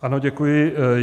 Ano, děkuji.